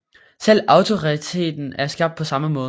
Selv Autoriteten er skabt på samme måde